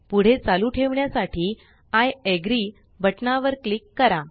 पुढे चालू ठेवण्यासाठी आय अग्री बटनावर क्लिक करा